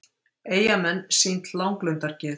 Eyjamenn sýnt langlundargeð